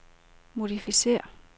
modificér